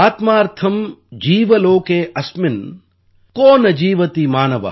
ஆத்மார்த்தம் ஜீவ லோகே அஸ்மின் கோ ந ஜீவதி மானவ